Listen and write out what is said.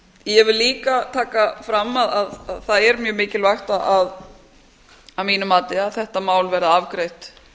vil líka taka fram að það er mjög mikilvægt að mínu mati að þetta mál verði afgreitt